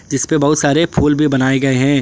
जिसपे बहुत सारे फूल भी बनाए गए हैं।